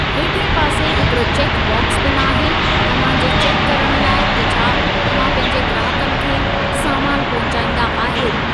हेठिएं पासे हिकड़ो चेकु बाक्स पिण आहे, तव्हां जे चेकु करणु लाइ त छा तव्हां पंहिंजे ग्राहकनि खे सामान पहुचाईंदा आहियो।